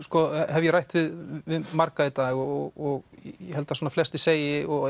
hef ég rætt við marga í dag og ég held að flestir segir og